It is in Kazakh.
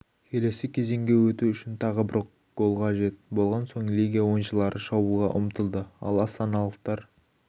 келесі кезеңге өту үшін тағы бір гол қажет болған соң легия ойыншылары шабуылға ұмтылды ал астаналықтар